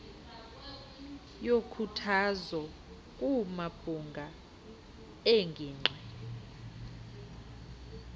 yokhuthazo kumabhunga eengingqi